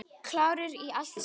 Klárir í allt saman?